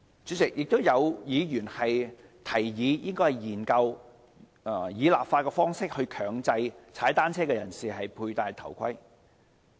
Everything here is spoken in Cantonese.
主席，有議員提議研究以立法方式強制騎單車人士佩戴頭盔。